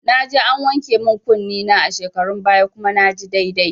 Naje an wanke min kunne na a shekarun baya kuma naji daidai